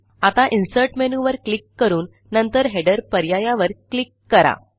आता Insertमेनूवर क्लिक करून नंतरHeaderपर्यायावर क्लिक करा